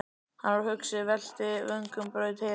Hann var hugsi, velti vöngum, braut heilann.